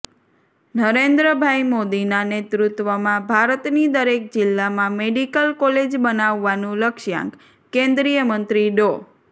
નરેન્દ્રભાઇ મોદીના નેતૃત્વમાં ભારતની દરેક જીલ્લામાં મેડિકલ કોલેજ બનાવવાનું લક્ષ્યાંકઃ કેન્દ્રીય મંત્રી ડો